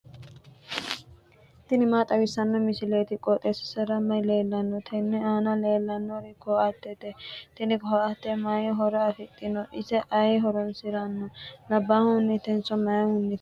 tini maa xawissanno misileeti? qooxeessisera may leellanno? tenne aana leellannori ko"attete tini ko"atte may horo afidhino? ise ayi horoonsiranno? loosantannohu mamaati?